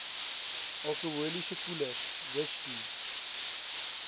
alkoholiese koelers whisky